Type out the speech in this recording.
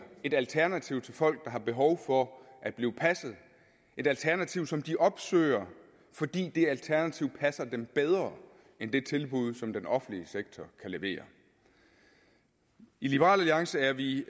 et alternativ til folk der har behov for at blive passet et alternativ som de opsøger fordi det alternativ passer dem bedre end det tilbud som den offentlige sektor kan levere i liberal alliance er vi